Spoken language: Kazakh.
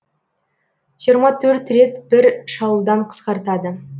жиырма төрт рет бір шалудан қысқартады